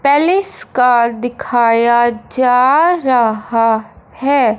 Palace का दिखाया जा रहा है।